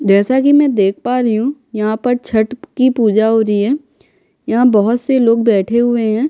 जैसा कि मैं देख पा रही हूँ यहाँ पर छट की पूजा हो रही है यहाँ बहुत से लोग बैठे हुए हैं।